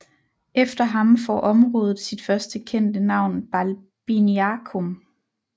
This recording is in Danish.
Efter ham får området sit første kendte navn Balbiniacum